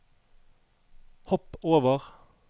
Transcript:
hopp over